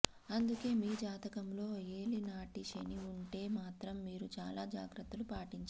అందుకే మీ జాతకంలో ఏలినాటి శని ఉంటే మాత్రం మీరు చాలా జాగ్రత్తలు పాటించాలి